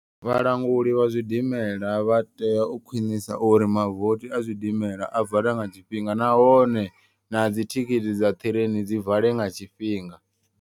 Vhalanguli vha zwidimela vha tea u khwinisa uri mavothi a zwidimela a vale nga tshifhinga. Nahone na dzithikhithi dza ṱireini dzi vale nga tshifhinga.